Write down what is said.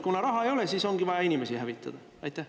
Kuna raha ei ole, siis ongi vaja inimesi hävitada?